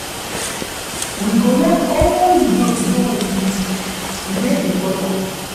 We go lock all di door before we sleep. E dey important.